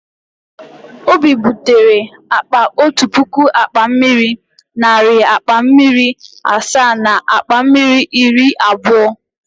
Obi butere akpa otu puku akpa mmiri, narị akpa mmiri asaa na akpa mmiri iri abụọ.